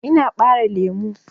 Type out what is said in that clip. Ina ɓare lemu.